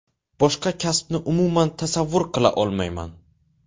Boshqa kasbni umuman tasavvur qila olmayman.